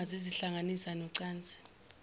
kuyima zizihlanganisa nocansi